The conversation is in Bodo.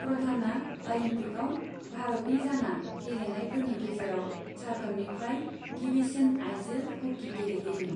प्रधानआ अलिम्पिकआव भारतनि जाना गेलेनायफोरनि गेजेराव झारखन्डनिफ्राय गिबिसिन आइजो ह'की गेलेगिरिमोन।